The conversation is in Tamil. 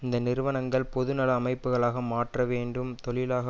இந்த நிறுவனங்கள் பொது நல அமைப்புக்களாக மாற்றவேண்டும் தொழிலாள